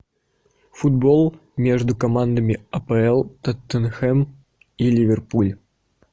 футбол между командами апл тоттенхэм и ливерпуль